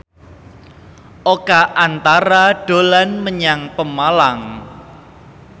Oka Antara dolan menyang Pemalang